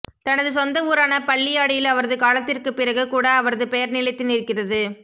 தனது சொந்த ஊரான பள்ளியாடியில் அவரது காலத்திற்குப் பிறகு கூட அவரது பெயா் நிலைத்து நிற்கிறது